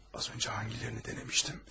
Az öncə hangilərini denəmişdim?